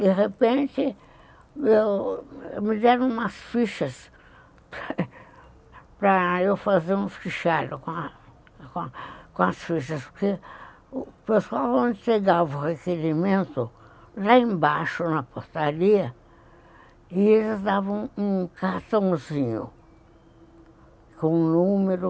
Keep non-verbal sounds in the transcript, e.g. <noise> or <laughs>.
De repente, me deram umas fichas <laughs> para eu fazer um fichário com as fichas, porque o pessoal, quando chegava o requerimento, lá embaixo na portaria, eles davam um cartãozinho com o número.